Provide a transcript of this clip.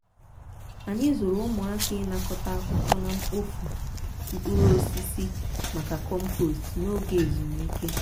anyị zụrụ ụmụaka ịnakọta akwụkwọ na mkpofu mkpụrụ osisi maka compost n'oge ezumike.